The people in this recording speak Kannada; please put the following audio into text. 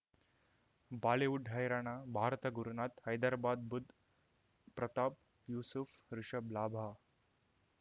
ಬಾಲಿವುಡ್ ಹೈರಾಣ ಭಾರತ ಗುರುನಾಥ್ ಹೈದರಾಬಾದ್ ಬುಧ್ ಪ್ರತಾಪ್ ಯೂಸುಫ್ ರಿಷಬ್ ಲಾಭ